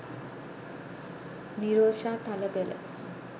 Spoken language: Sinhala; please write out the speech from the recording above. nirosha thalagala